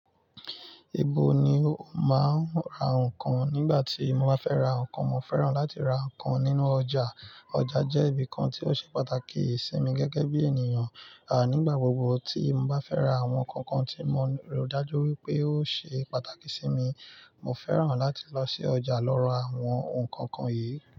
Ibo ni o ma n ra nkan. Nígbà tí mo bá fẹ́ ra nǹkan, mo fẹ́ràn láti ra nǹkan nínú ọjà. Ọjà jẹ́ ibi kan tí ó ṣe pàtàkì sí mi gẹ́gẹ́ bí ènìyàn. Ànígbàgbọ̀ gbogbo tí mo bá fẹ́ ra àwọn nǹkan kan tí mo rò dájú wípé ó ṣe pàtàkì sí mi, mo fẹ́ràn láti lọ sí ọjà lọ ra àwọn nǹkan kan yìí.